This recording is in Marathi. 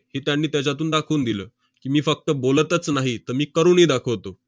हे त्यांनी त्याच्यातून दाखवून दिलं की, मी फक्त बोलतच नाही, तर मी करूनही दाखवतो.